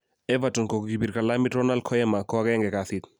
Everton kokibir kalamit Ronald Koema ko agenge kasit.